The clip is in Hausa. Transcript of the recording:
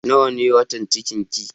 Nawa ne watan cikin ki?